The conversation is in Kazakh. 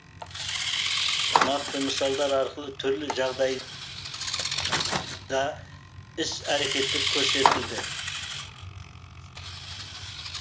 нақты мысалдар арқылы түрлі жағдай да іс әрекеттер көрсетілді